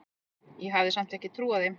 Ég hafði samt ekki trúað þeim.